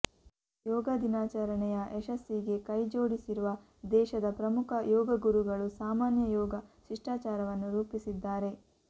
ಯೋಗ ದಿನಾಚರಣೆಯ ಯಶಸ್ಸಿಗೆ ಕೈಜೋಡಿಸಿರುವ ದೇಶದ ಪ್ರಮುಖ ಯೋಗಗುರುಗಳು ಸಾಮಾನ್ಯ ಯೋಗ ಶಿಷ್ಟಾಚಾರವನ್ನು ರೂಪಿಸಿದ್ದಾರೆ